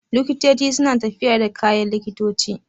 Likitoci suna tafiya da kayan likitoci